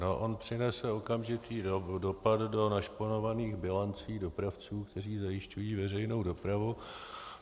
No, on přinese okamžitý dopad do našponovaných bilancí dopravců, kteří zajišťují veřejnou dopravu.